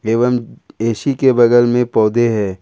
एवं ए_सी के बगल में पौधे है।